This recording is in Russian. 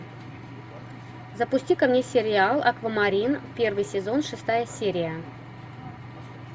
запусти ка мне сериал аквамарин первый сезон шестая серия